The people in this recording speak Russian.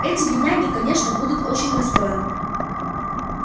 эти бедняги конечно будут очень расстроены